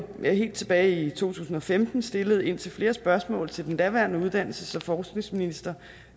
har helt tilbage i to tusind og femten stillet indtil flere spørgsmål til den daværende uddannelses og forskningsminister